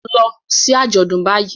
Lọ sí àjọ̀dún báyìí